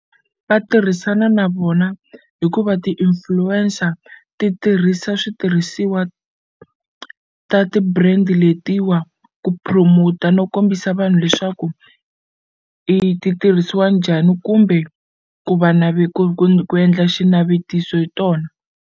Va tirhisana na vona hikuva ti-influencer ti tirhisa switirhisiwa ta ti-brand letiwa ku promote-a no kombisa vanhu leswaku i ti tirhisiwa njhani kumbe ku va ku ku ku endla xinavetiso hi tona.